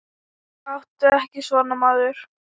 Láttu ekki svona, maður.